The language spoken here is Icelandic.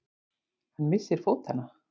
Hann missir fótanna.